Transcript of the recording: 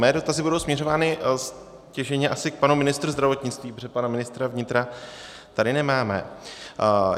Mé dotazy budou směřovány stěžejně asi k panu ministrovi zdravotnictví, protože pana ministra vnitra tady nemáme.